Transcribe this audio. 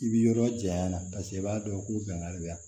I bi yɔrɔ janya na i b'a dɔn ko bɛnbali bɛ yan